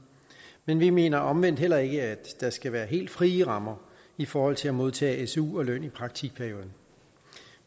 men vi mener omvendt heller ikke at der skal være helt frie rammer i forhold til at modtage su og løn i praktikperioden